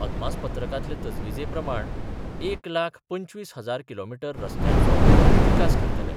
अदमासपत्रकांतले तजवीजे प्रमाण एक लाख पंचवीस हजार किलोमिटर रसत्यांचो विकास करतले.